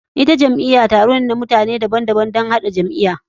Ita jam'iya zuwa ne na mutane daban daban domin haɗa jam'iya.